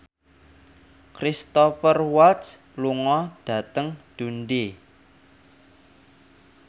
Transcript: Cristhoper Waltz lunga dhateng Dundee